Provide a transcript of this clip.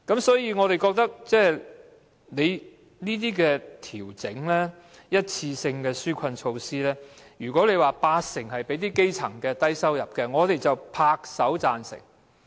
所以，對於這些一次性紓困措施，如果八成是向基層及低收入人士提供的，我們便拍手贊成。